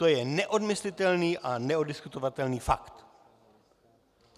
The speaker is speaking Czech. To je neodmyslitelný a neoddiskutovatelný fakt.